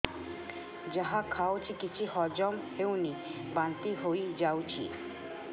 ଯାହା ଖାଉଛି କିଛି ହଜମ ହେଉନି ବାନ୍ତି ହୋଇଯାଉଛି